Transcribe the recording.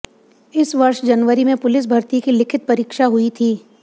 इस वर्ष जनवरी में पुलिस भर्ती की लिखित परीक्षा हुई थी